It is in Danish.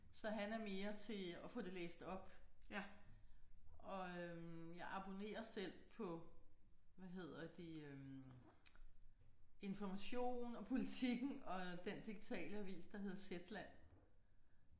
Så han er mere til at få det få læst op og øh jeg abonnerer selv på hvad hedder de øh Information og Politiken og den digitale avis der hedder Zetland